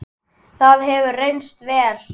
Það hefur reynst vel.